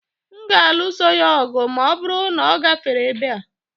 M ga-alụso ya ọgụ ma ọ bụrụ na ọ gafere ebe a